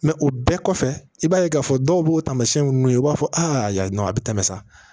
o bɛɛ kɔfɛ i b'a ye k'a fɔ dɔw b'o taamasiyɛn nunnu ye i b'a fɔ a yan nɔ a bi tɛmɛ sa